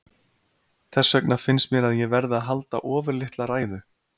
Þess vegna finnst mér að ég verði að halda ofurlitla ræðu.